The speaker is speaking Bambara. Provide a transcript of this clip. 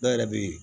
Dɔw yɛrɛ be yen